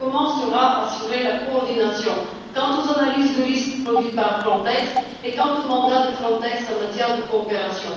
Comment sera assurée la coordination quant aux analyses de risques produites par Frontex et quant au mandat de Frontex en matière de coopération?